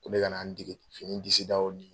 Ko ne ka na n dege fini disidaw ni